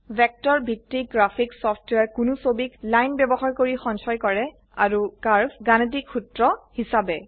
vector ভিত্তিক graphics সফটওয়্যাৰে কোনো ছবিক লাইন বয়ৱহাৰ কৰি সঞ্চয় কৰে আৰু কাৰ্ভ গাণিতিক সূত্ৰ হিসাবে